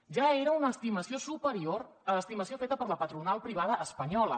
ja era una estimació superior a l’estimació feta per la patronal privada espanyola